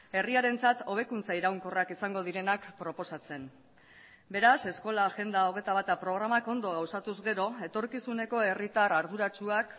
herriarentzat hobekuntza iraunkorrak izango direnak proposatzen beraz eskola agenda hogeita bata programak ondo gauzatuz gero etorkizuneko herritar arduratsuak